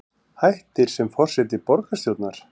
Hættir sem forseti borgarstjórnar